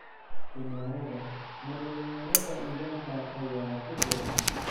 Kumarada: Ma dhalinyarada Uganda ayaa ku xiran?